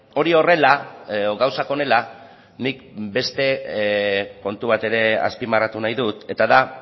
hori horrela edo gauzak honela nik beste kontu bat ere azpimarratu nahi dut eta da